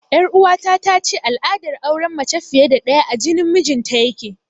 Ƴar uwata tace al'adar auren mace fiye da ɗaya a jinin mijinta yake